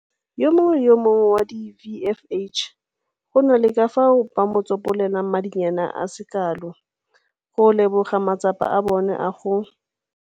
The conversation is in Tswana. Yo mongwe le yo mongwe wa di-VFH go na le ka fao ba tsopolelwang madinyana a se kalo go leboga matsapa a bona a go.